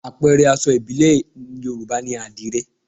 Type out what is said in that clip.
Àpẹẹrẹ aṣọ ìbílẹ̀ Yorùbá ni àdìrẹ